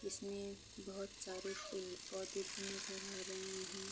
इसमे बहुत सारे पेड़ पौधे भी नजर आ रहे है।